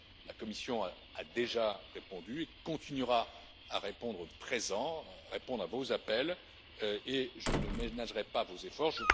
La Commission a déjà répondu et continuera à répondre présent, à répondre à vos appels et je ne ménagerai pas vos efforts.